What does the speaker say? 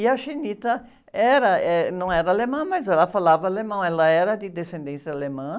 E a era, eh, não era alemã, mas ela falava alemão, ela era de descendência alemã.